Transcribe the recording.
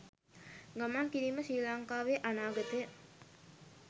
ගමන් කිරීම ශ්‍රී ලංකාවේ අනාගතය